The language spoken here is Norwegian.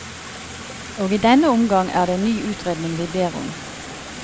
Og i denne omgang er det en ny utredning vi ber om.